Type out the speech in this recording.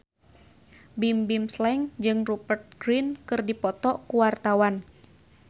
Bimbim Slank jeung Rupert Grin keur dipoto ku wartawan